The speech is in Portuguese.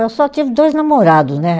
Eu só tive dois namorados, né?